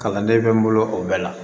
Kalanden bɛ n bolo o bɛɛ la